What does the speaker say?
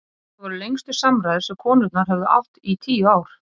Þetta voru lengstu samræður sem konurnar höfðu átt í tíu ár.